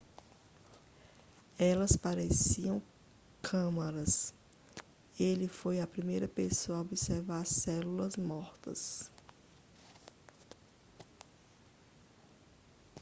elas pareciam câmaras ele foi a primeira pessoa a observar células mortas